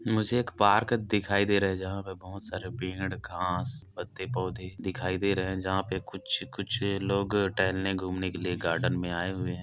मुझे एक पार्क दिखाई दे रहा है जहाँ पे बहोत सारे पेड़ घास पत्ते पौधे दिखाई दे रहे है जहाँ पर कुछ कुछ लोग टहलने घूमने के लिए गार्डन में आए हुए है।